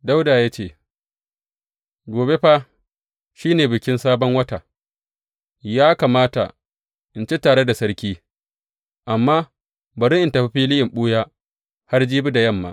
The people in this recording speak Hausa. Dawuda ya ce, Gobe fa shi ne Bikin Sabon Wata, ya kamata in ci tare da sarki amma bari in tafi fili in ɓuya har jibi da yamma.